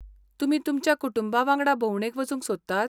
तुमी तुमच्या कुटुंबा वांगडा भोंवडेक वचूंक सोदतात?